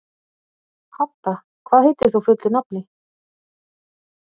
Hadda, hvað heitir þú fullu nafni?